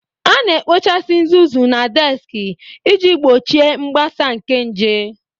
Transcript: A na-ekpochasị uzuzu na deski iji gbochie mgbasa nke nje.